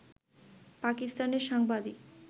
পাকিস্তানের সাংবাদিক